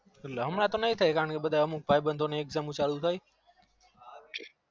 હમણાં તો નઈ થાય અમુક ભાઈ બંધો ને exam મો ચાલુ થાય